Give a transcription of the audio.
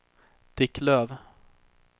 Dick Löf